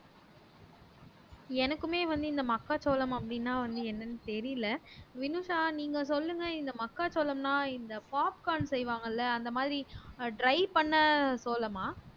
எனக்குமே வந்து இந்த மக்காச்சோளம் அப்படின்னா வந்து என்னன்னு தெரியலே வினுசா நீங்க சொல்லுங்க இந்த மக்காச்சோளம்ன்னா இந்த popcorn செய்வாங்கல்ல அந்த மாதிரி ஆஹ் dry பண்ண சோளமா